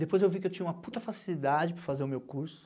Depois eu vi que eu tinha uma puta facilidade para fazer o meu curso.